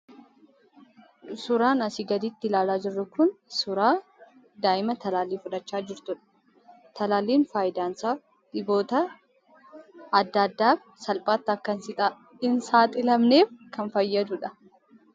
Suuraan asi gaditti ilaalaa jirru kun, suuraa daa'ima talaalli fudhachaa jirtudha. Talaalliin faayidaan isaa dhiboota addaa addaaf salphaatti akka hin saxilamneef kan fayyadudha.